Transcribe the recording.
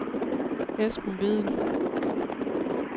Esben Vedel